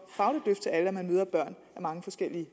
fagligt løft at man møder mange forskellige